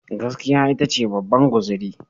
Gaskiya ita ce babban guzuri.